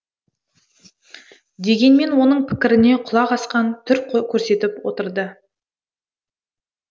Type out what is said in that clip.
дегенмен оның пікіріне құлақ асқан түр көрсетіп отырды